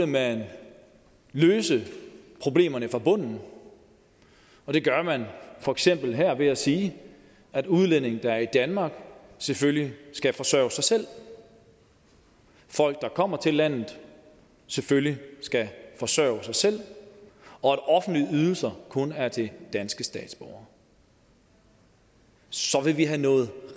man løse problemerne fra bunden og det gør man for eksempel ved at sige at udlændinge der er i danmark selvfølgelig skal forsørge sig selv at folk der kommer til landet selvfølgelig skal forsørge sig selv og at offentlige ydelser kun er til danske statsborgere så vil vi have nået